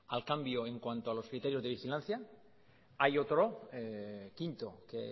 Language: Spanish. al cambio en cuanto a los criterios de vigilancia hay otro quinto que